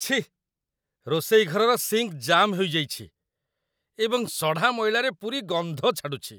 ଛିଃ, ରୋଷେଇ ଘରର ସିଙ୍କ୍ ଜାମ୍ ହୋଇଯାଇଛି ଏବଂ ସଢ଼ା ମଇଳାରେ ପୂରି ଗନ୍ଧ ଛାଡ଼ୁଛି।